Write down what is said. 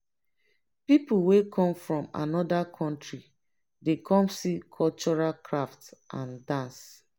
people wey come from anoda country dey come see cultural craft and dance.